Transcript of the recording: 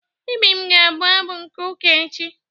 Ibim ga-abụ abụ n'ụka echi.